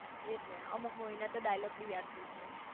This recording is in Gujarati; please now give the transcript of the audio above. એજ ને અમુક મુવી ના તો ડાઈલોગ બી યાદ હશે